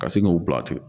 Ka sin k'u bila ten